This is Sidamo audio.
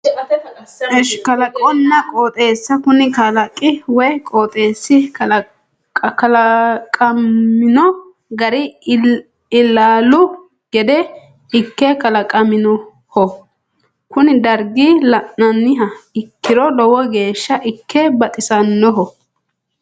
Kalaqonna qooxeessa kuni kalaqi woyi qooxeessi kalaqamino gari ilaalu gede ikke kalaqaminoho kuni dargi la'niha ikkiro lowo geeshsha ikke baxisannoho